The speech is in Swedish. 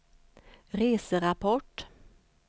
reserapport